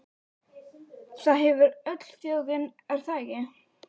Jens Valdimarsson: Það hefur öll þjóðin, er það ekki?